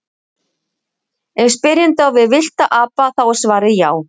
Ef spyrjandi á við villta apa þá er svarið já.